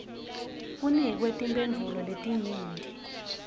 kunikwe timphendvulo letinyenti